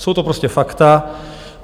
Jsou to prostě fakta.